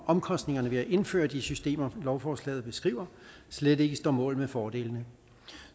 omkostningerne ved at indføre de systemer lovforslaget beskriver slet ikke står mål med fordelene